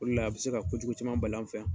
O de la a bi se ka kojugu caman bali an fɛ yan.